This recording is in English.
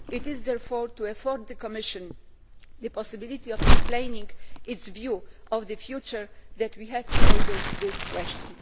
It is therefore to afford the Commission the possibility of explaining its view of the future that we have tabled this question.